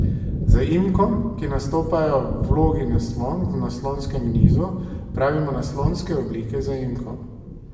Zaimkom, ki nastopajo v vlogi naslonk v naslonskem nizu, pravimo naslonske oblike zaimkov.